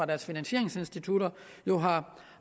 deres finansieringsinstitutter